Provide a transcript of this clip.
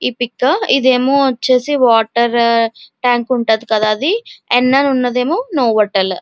ఈ పిక్ ఇది ఏమో వచ్చేసి వాటర్ ట్యాంక్ ఉంటది కదా అది. ఎనాల ఉందేమో నోవొటెల్ .